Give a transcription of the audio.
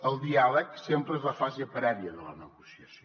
el diàleg sempre és la fase prèvia de la ne gociació